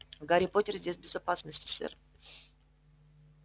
гарри поттер здесь в безопасности сэр